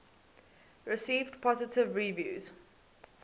received positive reviews